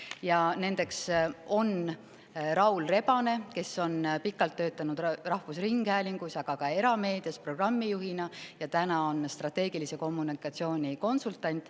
Ja nendeks on Raul Rebane, kes on pikalt töötanud rahvusringhäälingus, aga ka erameedias programmijuhina ja täna on strateegilise kommunikatsiooni konsultant.